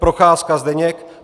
Procházka Zdeněk